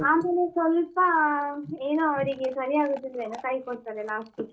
ಆಮೇಲೆ ಸ್ವಲ್ಪ ಏನೋ ಅವ್ರಿಗೆ ಸರಿಯಾಗುದಿಲ್ವೇನೋ ಕೈ ಕೊಡ್ತಾರೆ last ಗೆ.